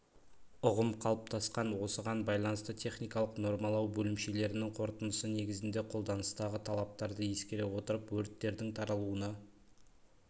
ұғым қалыптасқан осыған байланысты техникалық нормалау бөлімшелерінің қорытындысы негізінде қолданыстағы талаптарды ескере отырып өрттердің таралуына